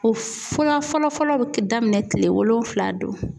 O fɔlɔ fɔlɔ fɔlɔ bɛ daminɛ kile wolonfila don.